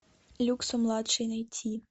люксо младший найти